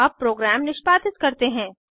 अब प्रोग्राम निष्पादित करते हैं